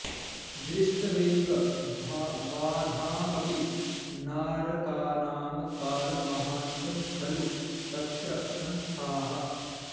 दृष्ट्वैव बाधामपि नारकाणां कालं महान्तं खलु तत्र संस्थाः